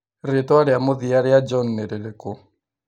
Rĩĩtwa rĩa mũthia rĩa John nĩ rĩrĩkũ